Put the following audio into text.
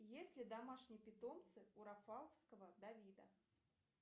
есть ли домашние питомцы у рафаловского давида